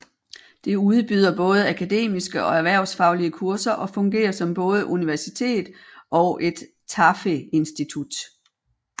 Det udbyder både akademiske og erhvervsfaglige kurser og fungerer som både universitet og et TAFE institut